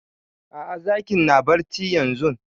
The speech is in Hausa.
A'a zakin na barci yanzun